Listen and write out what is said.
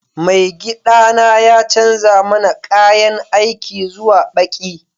Maigiɗana ya canza mana ƙayan aiki zuwa ɓaƙi